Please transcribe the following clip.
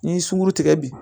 N'i ye sunkurutigɛ bi